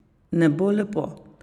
Ne bo lepo!